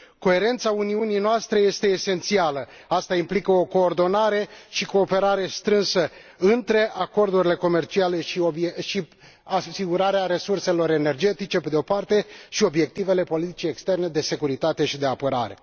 Coerența Uniunii noastre este esențială aceasta implică o coordonare și cooperare strânse între acordurile comerciale și asigurarea resurselor energetice, pe de o parte, și obiectivele politicii externe, de securitate și de apărare.